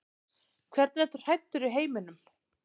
Hvernig ertu hræddur í heiminum?